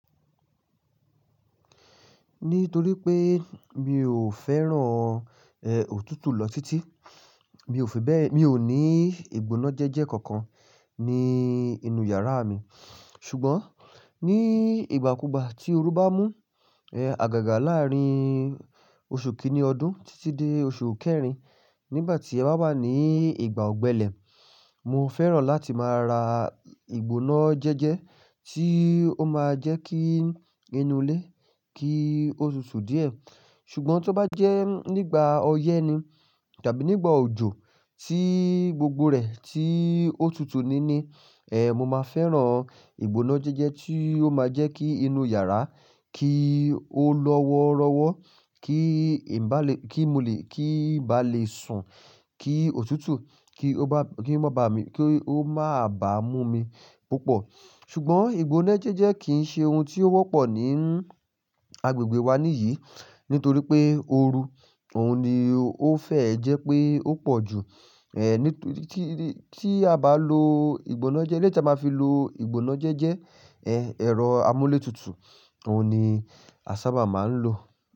Nítorí pé mi ò fẹ́ràn, òtútù lọ títí, mi ò ní ìgbóná jẹ́jẹ́ kankan ní inú yàrá mi. Ṣùgbọ́n ní ìgbàkúgbà tí oru baa mú àgàgà láàrin oṣù kìíní ọdún títí dé oṣù kẹrin, nígbà tí ẹ bá wà ní ìgbà ọ̀gbẹlẹ̀, mo fẹ́ràn láti máa ra ìgbóná jẹ́jẹ́ tí ó máa jẹ́ kí inú ilé kí ó tutù díẹ̀. Ṣùgbọ́n tó bá jẹ́ nígbà ọyẹ́ ni tàbí nígbà òjò tí gbogbo rẹ̀ tí ó tutù ni ní, mo máa fẹ́ràn ìgbóná jẹ́jẹ́ tí ó máa jẹ́ kí inú yàrá kí ó lọ́wọ́rọ́wọ́, kí ń bá le, kí mo kí ń bá lè sùn, kí òtútù kí ó má bà mú mi púpọ̀. Ṣùgbọ́n ìgbóná jẹ́jẹ́ kìí ṣe ohun tí ó wọ́pọ̀ ní agbègbè wa níyìí nítorí pé oru, ohun ni ó fẹ́ jẹ́ pé ó pọ̀ ju, nítorí tí, tí a bá lo ìgbóná jẹ́jẹ́, eléyìí tí a báa fi lo ìgbóná jẹ́jẹ́, ẹ̀rọ amúlé tútù, ohun ni a sábà máa ń lò.